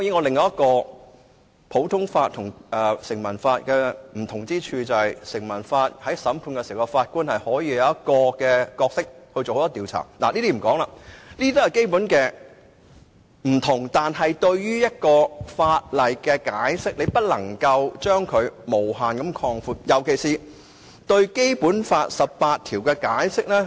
另一個普通法和成文法的不同之處，在於根據成文法進行審判時，法官可以擔當調查角色，這也是基本差異，但在解釋法例方面，卻不能無限擴闊，尤其對《基本法》第十八條的解釋。